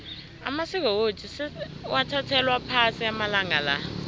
amasiko wethu sewathathelwa phasi amalanga la